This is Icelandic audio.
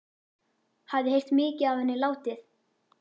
Hafði heyrt mikið af henni látið.